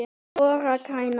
ORA grænar